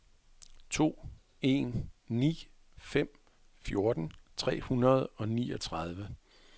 to en ni fem fjorten tre hundrede og niogtredive